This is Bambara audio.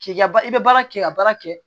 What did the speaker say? K'i ka i bɛ baara kɛ i ka baara kɛ